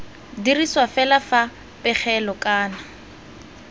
dirisiwa fela fa pegelo kana